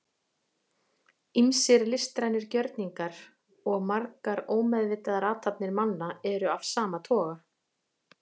ýmsir listrænir gjörningar og margar ómeðvitaðar athafnir manna eru af sama toga